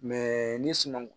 Mɛ ni sinankun